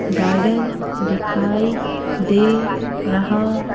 garden दिखाई दे रहा --